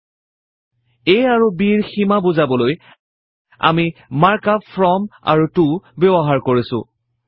a আৰু b ৰ সীমা বুজাবলৈ আমি মাৰ্ক আপ ফ্ৰম আৰু ত ব্যৱহাৰ কৰিছো